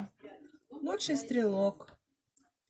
лучший стрелок